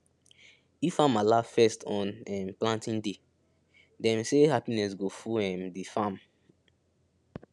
if farmer laugh first on um planting day dem say happiness go full um the farm